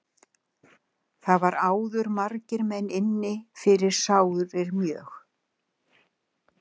Var þar áður margir menn inni fyrir sárir mjög.